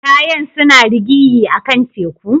Kayan suna rigiya a'kan teku?